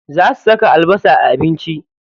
Za su saka albasa a abinci.